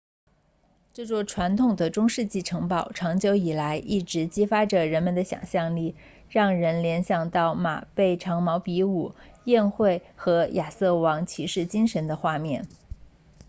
这座传统的中世纪城堡长久以来一直激发着人们的想象力让人联想到马背长矛比武宴会和亚瑟王骑士精神的画面